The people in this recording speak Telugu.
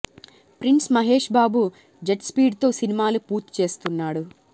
prince Mahesh Babu jet speed తో సినిమాలు పూర్తి చేస్తున్నాడు